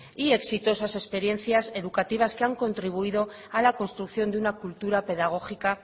y exitosas experiencias educativas que han contribuido a la construcción de una cultura pedagógica